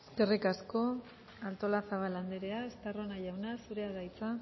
eskerrik asko artolazabal anderea estarrona jauna zurea da hitza